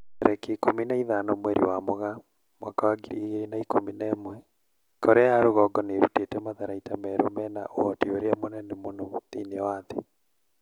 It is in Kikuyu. Tarĩki ikũmi na ithano mweri wa Mũgaa mwaka wa ngiri igĩrĩ na ikũmi na ĩmwe Korea ya rũgongo nĩ ĩrutĩte matharaita merũ mena ũhoti ũrĩa mũnene mũno thĩinĩ wa thĩ.'